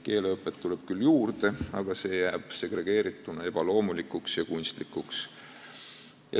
Keeleõpet tuleb küll juurde, aga see jääb segregeerituna ebaloomulikuks ja kunstlikuks.